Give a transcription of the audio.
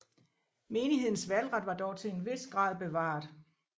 Menighedens valgret var dog til en vis grad bevaret